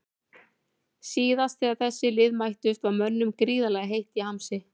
Síðast þegar þessi lið mættust var mönnum gríðarlega heitt í hamsi.